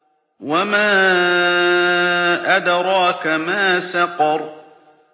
وَمَا أَدْرَاكَ مَا سَقَرُ